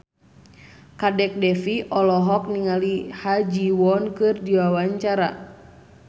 Kadek Devi olohok ningali Ha Ji Won keur diwawancara